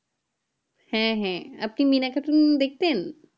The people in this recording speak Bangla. হ্যাঁ হ্যাঁ আপনি মিনা cartoon দেখতেন